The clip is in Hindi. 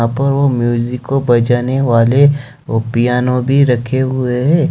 पर वो म्यूजिक को बजाने वाले वो पियानो भी रखे हुए है।